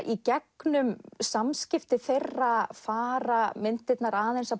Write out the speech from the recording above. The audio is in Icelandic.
í gegnum samskipti þeirra fara myndirnar aðeins að